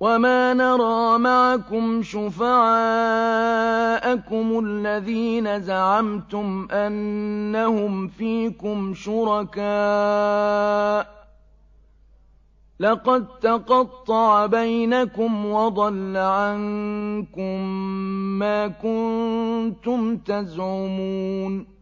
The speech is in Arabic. وَمَا نَرَىٰ مَعَكُمْ شُفَعَاءَكُمُ الَّذِينَ زَعَمْتُمْ أَنَّهُمْ فِيكُمْ شُرَكَاءُ ۚ لَقَد تَّقَطَّعَ بَيْنَكُمْ وَضَلَّ عَنكُم مَّا كُنتُمْ تَزْعُمُونَ